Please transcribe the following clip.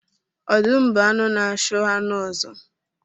Ọdụm bụ anụ na-achụ anụ ọzọ